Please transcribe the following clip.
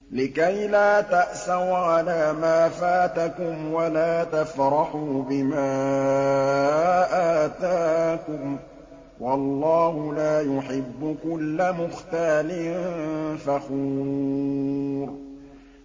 لِّكَيْلَا تَأْسَوْا عَلَىٰ مَا فَاتَكُمْ وَلَا تَفْرَحُوا بِمَا آتَاكُمْ ۗ وَاللَّهُ لَا يُحِبُّ كُلَّ مُخْتَالٍ فَخُورٍ